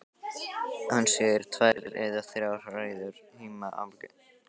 Hann sér tvær eða þrjár hræður híma álengdar.